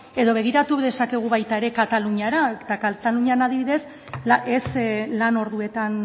edo begiratu dezakegu baita ere kataluniara eta katalunian adibidez ez lan orduetan